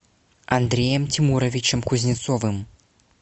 андреем тимуровичем кузнецовым